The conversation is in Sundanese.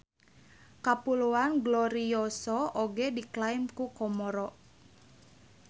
Kapuloan Glorioso oge diklaim ku Komoro.